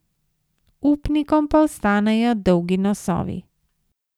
Upnikom pa ostanejo dolgi nosovi.